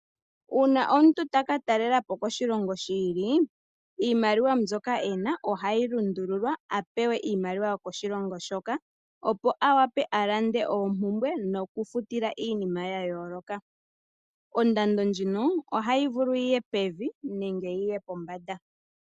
Uuna omuntu toka talela po koshilongo shiili iimaliwa ndyoka ena ohayi lundululwa apewe iimaliwa yokoshilongo shoka, opo awape alande oompumbwe noku futila iinima yayooloka. Ondando ndjino ohayi vulu yiye pevi nenge yiye pombanda.